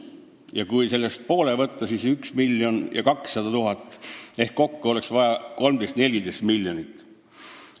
Kui võtta sellest pool, siis see on 1 200 000 ehk kokku oleks vaja 13–14 miljonit.